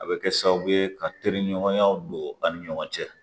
A bɛ kɛ sababu ye ka teri ɲɔgɔnya don an ni ɲɔgɔn cɛ